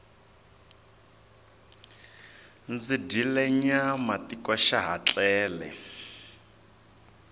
ndzi dyile nyama tiko xa ha tlele